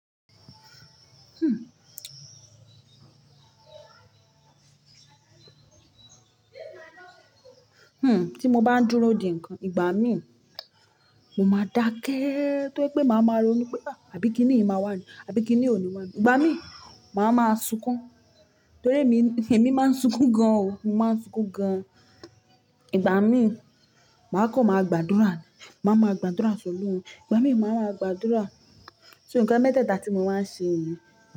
Hmm, tí mo bá ń dúró dè ńkan, ìgbà mí mo máa dákẹ́, tó pé máa máa ronú pé àbí kiní yìí máa wà ní? Àbí kiní òní máa wà ní? Ìgbà mí, màá máa sunkún, torí èmi, èmi má ń sunkún gan o, mo má ń sunkún gan. Ìgbà mí, màá kọ̀ máa gbàdúrà, màá máa gbàdúrà so Ọlọ́run. Ìgbà mí, màá máa gbàdúrà. So nǹkan mẹ́teta ti mo máa ń ṣe niyen.